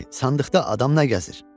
Ay kişi, sandıqda adam nə gəzir?